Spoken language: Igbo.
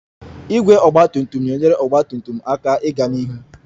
Igwe ọgba tum tum na-enyere ọgba tum tum aka ịga n'ihu